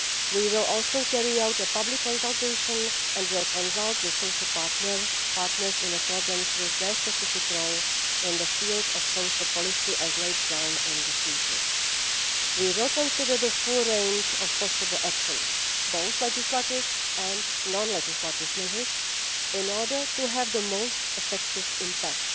We will also carry out a public consultation and will consult the social partners in accordance with their specific role in the field of social policy as laid down in the Treaty. We will consider the full range of possible actions, both legislative and non legislative measures, in order to have the most effective impact.